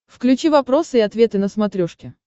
включи вопросы и ответы на смотрешке